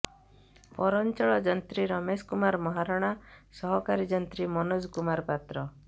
ପୈାରଂଚଳ ଯନ୍ତ୍ରୀ ରମେଶ କୁମାର ମହାରଣା ସହକାରୀ ଯଂନ୍ତ୍ରୀ ମନୋଜ କୁମାର ପାତ୍ର